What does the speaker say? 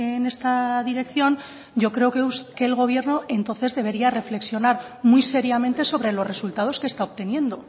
en esta dirección yo creo que el gobierno entonces debería reflexionar muy seriamente sobre los resultados que está obteniendo